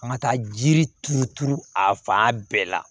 A ma taa jiri turu turu a fan bɛɛ la